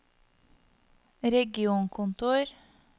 regionkontor